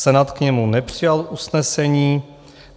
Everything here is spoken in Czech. Senát k němu nepřijal usnesení.